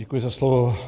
Děkuji za slovo.